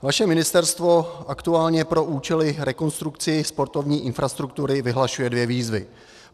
Vaše ministerstvo aktuálně pro účely rekonstrukcí sportovní infrastruktury vyhlašuje dvě výzvy.